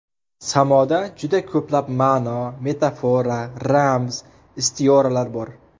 Samoda juda ko‘plab ma’no, metafora, ramz, istioralar bor.